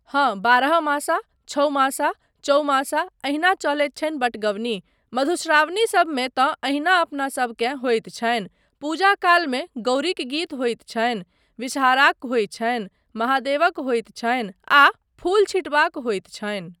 हाँ, बारहमासा, छओमासा, चौमासा, एहिना चलैत छनि बटगवनी। मधुश्रावणीसबमे तँ एहिना अपनासबकेँ होइत छनि। पूजा कालमे गौरीक गीत होइत छनि, विषहाराक होइत छनि, महादेवक होइत छनि आ फूल छीटबाक होइत छनि।